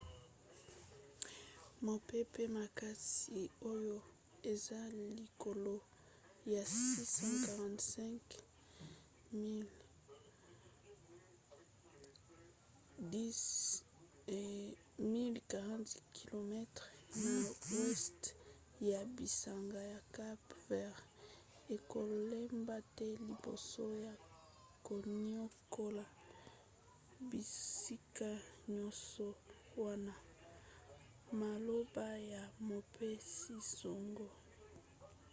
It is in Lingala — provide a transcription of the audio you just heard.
mopepe makasi oyo eza likolo ya 645 miles 1040 km na weste ya bisanga ya cape vert ekolemba te liboso ya koniokola bisika nyonso wana maloba ya mopesi-sango